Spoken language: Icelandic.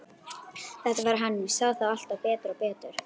Þetta var hann, ég sá það alltaf betur og betur.